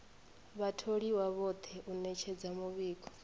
vhatholiwa vhoṱhe u ṅetshedza muvhigo